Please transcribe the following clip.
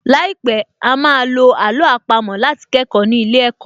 Láìpẹ̀, á á ma lo àló àpamọ́ láti kẹ́kọ̀ọ́ ní ilé ẹ̀kọ́